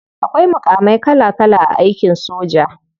Akwai mukamai kala kala a aikin soja.